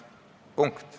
Punkt.